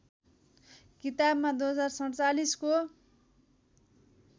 किताबमा २०४७ को